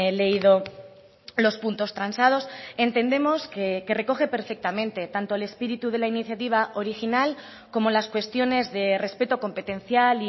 leído los puntos transados entendemos que recoge perfectamente tanto el espíritu de la iniciativa original como las cuestiones de respeto competencial